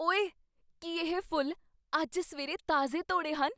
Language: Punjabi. ਓਏ! ਕੀ ਇਹ ਫੁੱਲ ਅੱਜ ਸਵੇਰੇ ਤਾਜ਼ੇ ਤੌੜੇ ਹਨ?